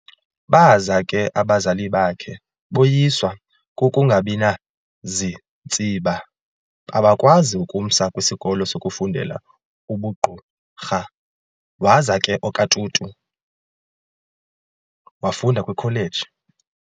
Baza ke abazali bakhe boyiswa kukungabinazintsiba abakwazi ukumsa kwisikolo sokufundela ubugqurha, waza ke okaTutu wafunda kwikholeji